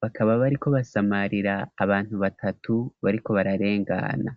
bakaba bari ko basamarira abantu batatu bariko bararengana.